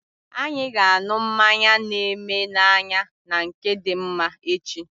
Anyị ga anụ mmanya na eme na anya na nke Dimma echi